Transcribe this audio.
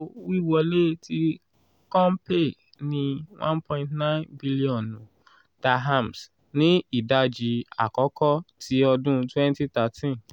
wiwọle ti compay ni one point nine 1 billion dirhams ni idaji akọkọ ti ọdun twenty thirteen.